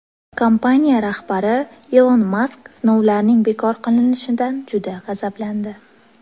Kompaniya rahbari Ilon Mask sinovlarning bekor qilinishidan juda g‘azablandi.